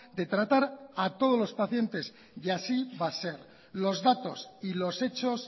de tratar a todos los pacientes y así va a ser los datos y los hechos